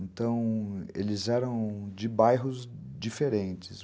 Então, eles eram de bairros diferentes.